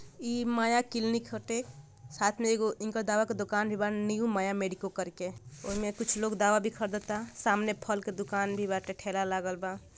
ई माया क्लिनिक होते साथ में एगो इनका दावा के दूकान भी बा नीऊ माया मेडिको करके ओही में कुछ लोग दावा भी खरीदता सामने फल के दूकान भी बाटे ठेला लागल बा।